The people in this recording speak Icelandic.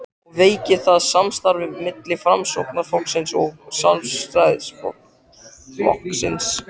og veikir það samstarfið milli Framsóknarflokksins og Sjálfstæðisflokksins?